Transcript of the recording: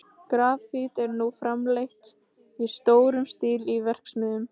Grafít er nú framleitt í stórum stíl í verksmiðjum.